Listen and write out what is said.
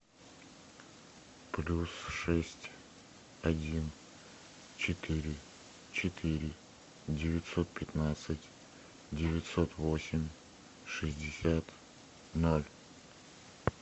плюс шесть один четыре четыре девятьсот пятнадцать девятьсот восемь шестьдесят ноль